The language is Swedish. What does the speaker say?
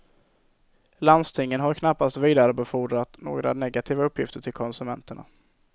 Landstingen har knappast vidarebefordrat några negativa uppgifter till konsumenterna.